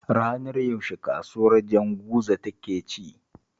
Ranar yaushe kasuwar Janguza take ci?